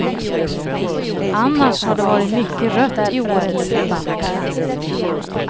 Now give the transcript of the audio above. Annars har det varit mycket rött i årets debatt.